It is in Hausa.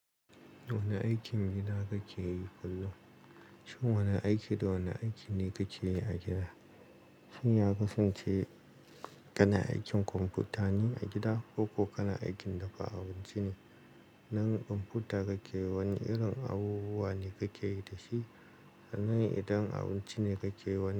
Wane aikin gida kake yi kullum? Shin wane aiki da wane aiki ne kake yi a gida? Shin ya kusance kana aikin kwamfuta ne a gida koko kana aikin dafa abinci ne? Nan kwamfuta kake yi, wane irin abubuwa ne kake yi da shi? Nan idan abinci ne kake yi, wane.